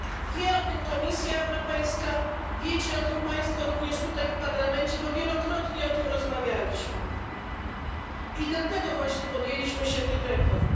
Wie o tym Komisja Europejska, wiecie o tym Państwo również tutaj w Parlamencie, bo wielokrotnie o tym rozmawialiśmy i dlatego właśnie podjęliśmy się tych reform.